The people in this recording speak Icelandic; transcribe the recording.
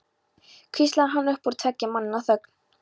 hvíslar hann upp úr tveggja manna þögn.